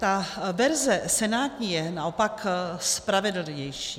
Ta verze senátní je naopak spravedlivější.